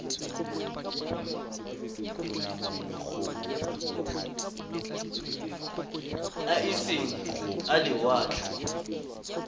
a e seng a lewatle